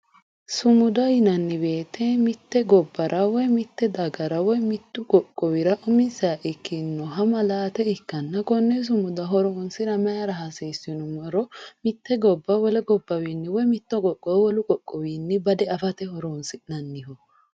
sumuda yinanni woyiite mitte gobbara woy mitte dagara woy mittu qoqqowira umisiha ikkinnoha maalaate ikkanna konne sumuda horonsira maayiira hasiisu yinummoro mitte gobba wole gobba wiini woy mitto qoqqowo wolu qoqqowiwiinni bade afate horonsii'neemmo